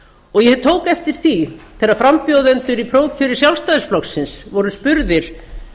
og ég tók eftir því þegar frambjóðendur í prófkjöri sjálfstæðisflokksins voru spurðir